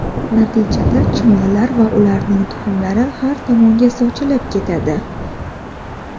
Natijada chumolilar va ularning tuxumlari har tomonga sochilib ketadi.